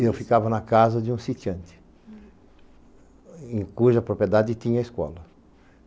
Eu ficava na casa de um sitiante, cuja propriedade tinha escola.